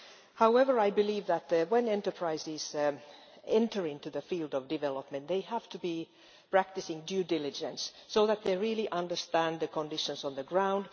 However, I believe that, when enterprises enter into the field of development, they have to be practising due diligence, so that they really understand the conditions on the ground